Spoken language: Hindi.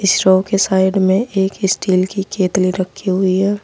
इस रो के साइड में एक स्टील की केतली रखी हुई है।